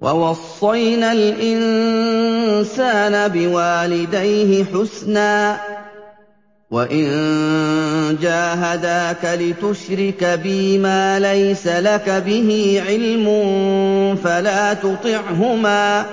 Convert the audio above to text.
وَوَصَّيْنَا الْإِنسَانَ بِوَالِدَيْهِ حُسْنًا ۖ وَإِن جَاهَدَاكَ لِتُشْرِكَ بِي مَا لَيْسَ لَكَ بِهِ عِلْمٌ فَلَا تُطِعْهُمَا ۚ